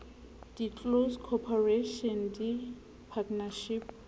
di close corporation di partnership